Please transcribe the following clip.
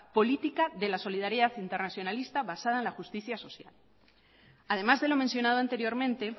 política de la solidaridad internacionalista basada en la justicia social además de lo mencionado anteriormente